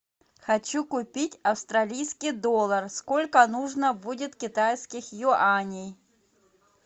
хочу купить австралийский доллар сколько нужно будет китайских юаней